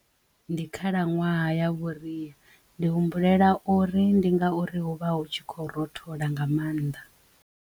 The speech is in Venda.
Ndi khalaṅwaha ya vhuriya ndi humbulela uri ndi ngauri hu vha hu tshi khou rothola nga mannḓa.